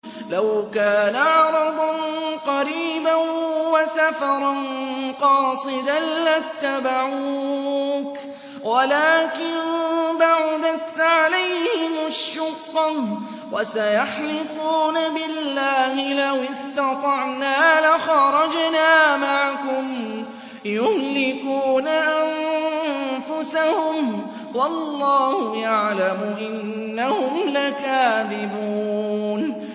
لَوْ كَانَ عَرَضًا قَرِيبًا وَسَفَرًا قَاصِدًا لَّاتَّبَعُوكَ وَلَٰكِن بَعُدَتْ عَلَيْهِمُ الشُّقَّةُ ۚ وَسَيَحْلِفُونَ بِاللَّهِ لَوِ اسْتَطَعْنَا لَخَرَجْنَا مَعَكُمْ يُهْلِكُونَ أَنفُسَهُمْ وَاللَّهُ يَعْلَمُ إِنَّهُمْ لَكَاذِبُونَ